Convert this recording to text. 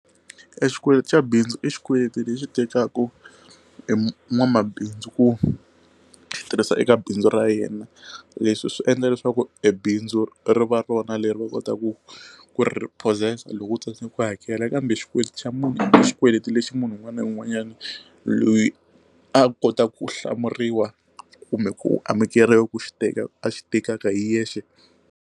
E xikweleti xa bindzu i xikweleti lexi tekaka i nwamabindzu ku swi tirhisa eka bindzu ra yena leswi swi endla leswaku e bindzu ri va rona leri va kotaka ku ku ri reposse-sa loko u tsandzeka ku hakela kambe xikweleti xa munhu a xikweleti lexi munhu un'wana na un'wanyani loyi a kotaka ku hlamuriwa kumbe ku amukeriwa ku xi teka a xi tekaka hi yexe.